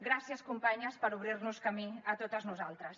gràcies companyes per obrir nos camí a totes nosaltres